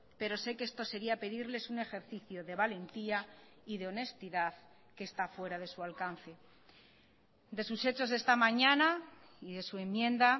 pero sé que esto sería pedirles un ejercicio de valentía y de honestidad que está fuera de su alcance de sus hechos esta mañana y de su enmienda